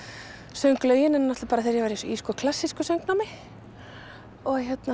söng lögin hennar bara þegar ég var í klassísku söngnámi